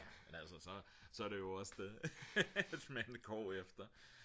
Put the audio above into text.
ja men altså så er det jo også det man går efter